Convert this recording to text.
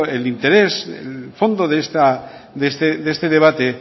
el interés el fondo de este debate